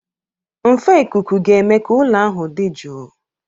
Nfe ikuku ga-eme ka ụlọ ahụ dị jụụ.